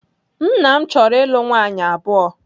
Nna m chọrọ ịlụ nwaanyị abụọ.